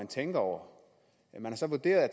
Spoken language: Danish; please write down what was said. tænkt over man har så vurderet at